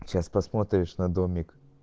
сейчас посмотришь на домик